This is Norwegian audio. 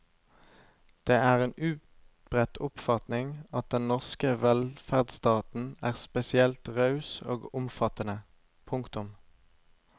Det er en utbredt oppfatning at den norske velferdsstaten er spesielt raus og omfattende. punktum